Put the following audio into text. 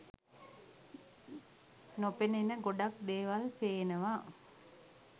නොපෙනෙන ගොඩක් දේවල් පේනවා